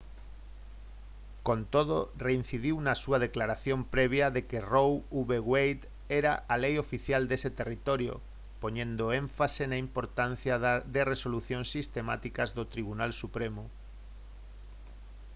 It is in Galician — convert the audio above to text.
con todo reincidiu na súa declaración previa de que roe v wade era a lei oficial dese territorio poñendo o énfase na importancia de resolucións sistemáticas do tribunal supremo